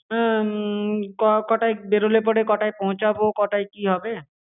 উম ক~ কটায় বেরোলে পরে কটায় পৌছাবো, কটায় কি হবে।